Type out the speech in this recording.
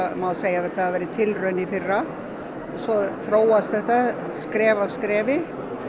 má segja að þetta hafi verið tilraun í fyrra svo þróast þetta skref af skrefi